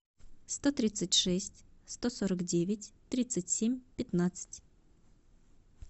сто тридцать шесть сто сорок девять тридцать семь пятнадцать